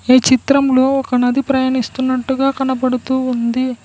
ఈ చిత్రంలో ఒక నది ప్రయాణిస్తున్నట్టుగా కనబడుతూ ఉంది.